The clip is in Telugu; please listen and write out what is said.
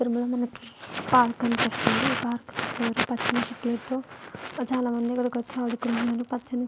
పార్క్ కనిపిస్తుంది ఈ పార్క్ పక్కన పచ్చని చెట్లతో చాలామంది ఇక్కడికి వచ్చి ఆడుకుంటున్నారు పచ్చని --